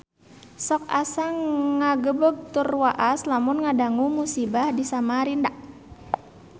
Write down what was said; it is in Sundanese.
Sok asa ngagebeg tur waas lamun ngadangu musibah di Samarinda